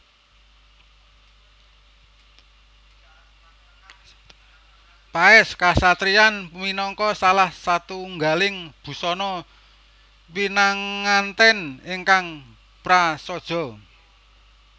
Paès Kasatriyan minangka salah satunggaling busana pinangantèn ingkang prasaja